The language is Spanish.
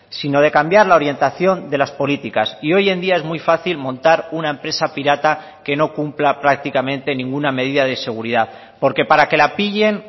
sino de cambiar la orientación de las políticas y hoy en día es muy fácil montar una empresa pirata que no cumpla prácticamente ninguna medida de seguridad porque para que la pillen